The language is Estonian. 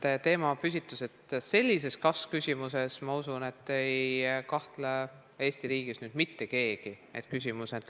Sellise teemapüstituse, sellise kas-küsimuse korral, ma usun, ei kahtle Eesti riigis nüüd küll mitte keegi.